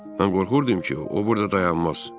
Mən qorxurdum ki, o burada dayanmaz.